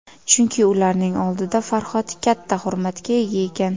Chunki ularning oldida Farhod katta hurmatga ega ekan.